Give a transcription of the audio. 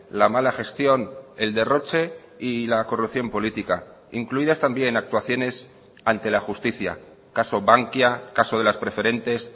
la mala gestión el derroche y la corrupción política incluidas también actuaciones ante la justicia caso bankia caso de las preferentes